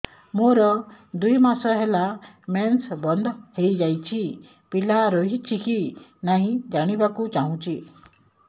ମୋର ଦୁଇ ମାସ ହେଲା ମେନ୍ସ ବନ୍ଦ ହେଇ ଯାଇଛି ପିଲା ରହିଛି କି ନାହିଁ ଜାଣିବା କୁ ଚାହୁଁଛି